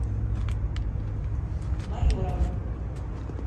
майоровым